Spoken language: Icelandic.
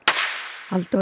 Halldór